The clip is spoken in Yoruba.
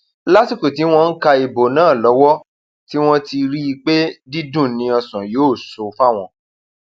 lásìkò tí wọn ń ka ìbò um náà lọwọ tí wọn ti rí um i pé dídùn ni ọsán yóò sọ fáwọn